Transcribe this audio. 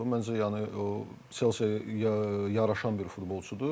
Məncə yəni Chelsea yaraşan bir futbolçudur.